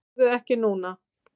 Farðu ekki núna!